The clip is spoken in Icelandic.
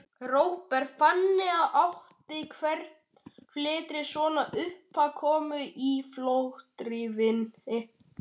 Róbert: Þannig að, áttu fleiri svona uppákomur í fortíðinni?